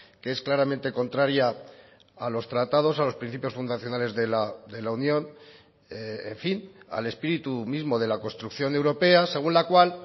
que es claramente contraria a los tratados a los principios fundacionales de la unión en fin al espíritu mismo de la construcción europea según la cual